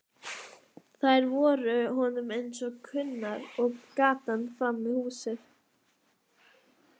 Þær voru honum eins kunnar og gatan framan við húsið.